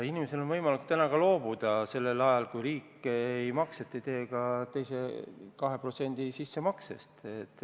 Inimesel on võimalik loobuda sellel ajal, kui riik seda makset ei tee, ka oma 2% sissemaksest.